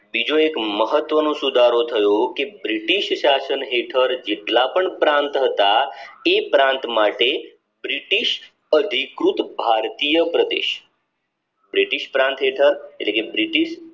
બીજો એક મહત્વ નો સુધારો થયો કે બ્રિટિશ શાસન હેઠળ જેતલ પણ પ્રાંત હતા એ પ્રાંત માટે બ્રિટિશ અધિકૃત ભારતીય પ્રદેશ બ્રિટિશ પ્રાંત હેઠળ એટલે કે બ્રિટિશ